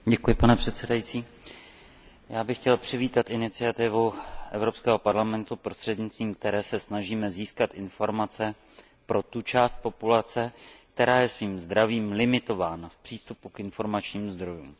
Pane předsedající, já bych chtěl přivítat iniciativu Evropského parlamentu, prostřednictvím které se snažíme získat informace pro tu část populace, která je svým zdravím limitována v přístupu k informačním zdrojům.